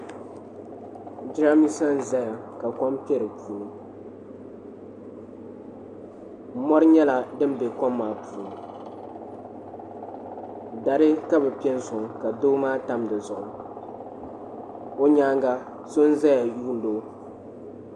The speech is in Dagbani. Jiramisa n zaya ka kom kpɛ di puuni mori nyɛla din be kom maa puuni dari ka bi pe n soŋ ka doo maa tam di zuɣu o nyaanga so n zaya yuun di o.